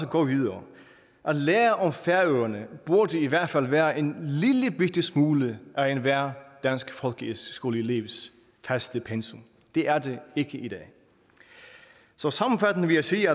gå videre at lære om færøerne burde i hvert fald være en lille bitte smule af enhver dansk folkeskoleelevs faste pensum det er det ikke i dag så sammenfattende vil jeg sige